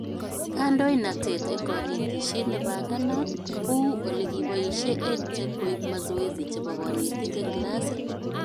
Kandoinatet eng konetishet nebanganat, kou ole kiboishe EdTech koib mazoezi chebo konetik eng klasit